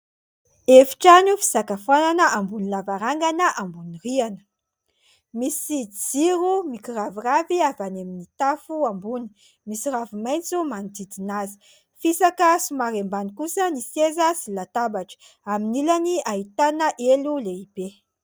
Efi-trano fisakafoanana ambony lavarangana ambony rihana. Misy jiro mikiraviravy avy any amin'ny tafo ambony. Misy ravimaitso manodidina azy, fisaka somary ambany kosa ny seza sy latabatra, amin'ny ilany ahitana elo lehibe.